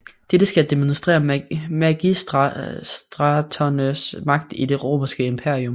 Dette skal demonstrere magistraternes magt i det Romerske Imperium